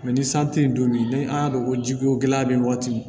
ni san tɛ yen don min ni an y'a dɔn ko jiko gɛlɛya bɛ yen waati